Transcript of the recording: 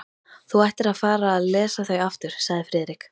Þú ættir að fara að lesa þau aftur sagði Friðrik.